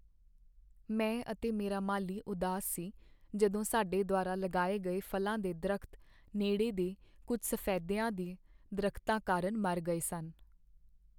ਮੈਂ ਅਤੇ ਮੇਰਾ ਮਾਲੀ ਉਦਾਸ ਸੀ ਜਦੋਂ ਸਾਡੇ ਦੁਆਰਾ ਲਗਾਏ ਗਏ ਫ਼ਲਾਂ ਦੇ ਦਰੱਖਤ ਨੇੜੇ ਦੇ ਕੁੱਝ ਸਫ਼ੈਦੀਆਂ ਦੇ ਦਰਖਤਾਂ ਕਾਰਨ ਮਰ ਗਏ ਸਨ।